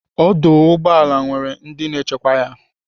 Ọdụ ụgbọala nwere ndị na-echekwa ya.